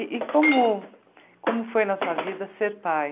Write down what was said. E e como como foi na sua vida ser pai?